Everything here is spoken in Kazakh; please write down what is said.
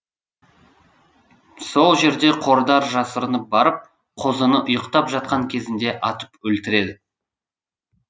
сол жерде қодар жасырынып барып қозыны ұйықтап жатқан кезінде атып өлтіреді